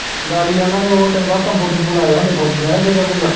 ਗਾੜੀ ਓਹਨਾ ਨੇ ਉਹ ਤੈਨੂੰ ਪਤਾ ਤੰਬੂ ਤੂੰਬੂ ਲਾਏ ਹੁੰਦੇ ਫੌਜੀਆਂ ਨੇ